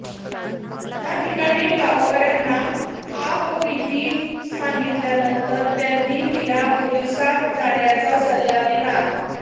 याठिकाणी गावकऱ्याना आपबिती सांगितल्यानंतर त्यांनी तिला पोलिसात जाण्याचा सल्ला दिला